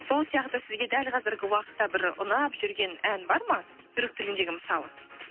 сол сияқты сізге дәл қазіргі уақытта бір ұнап жүрген ән бар ма түрік тіліндегі мысалы